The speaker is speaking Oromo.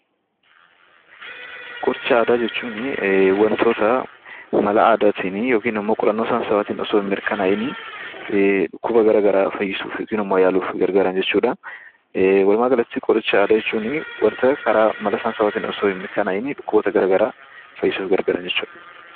Qoricha Aadaa jechuun wantoota mala aadaatiin yookaan qorannoo saayinsawaatiin otoo hin mirkanaa'iin dhukkuba gara garaa fayyisuuf yookaan immoo yaaluuf gargaaranjechuudha. Walumaa galatti qoricha aadaa jechuun wanta otoo mala saayinsawaatiin hin mirkanaa'iin dhukkuboota gara garaa fayyisuuf gargaaran jecbuudha.